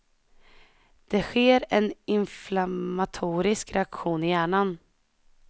Det sker en inflammatorisk reaktion i hjärnan.